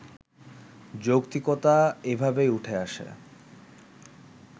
যৌক্তিকতা এভাবেই উঠে আসে